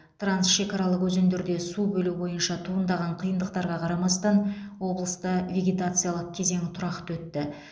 трансшекаралық өзендерде су бөлу бойынша туындаған қиындықтарға қарамастан облыста вегетациялық кезең тұрақты өтті